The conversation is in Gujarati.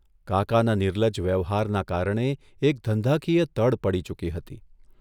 કાકાના નિર્લજ્જ વ્યવહારના કારણે એક ધંધાકીય તડ પડી ચૂકી હતી.